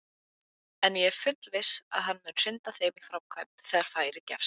En ég er þess fullviss að hann mun hrinda þeim í framkvæmd þegar færi gefst!